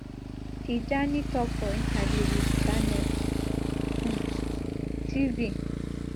tijani tok for interview wit channels um tv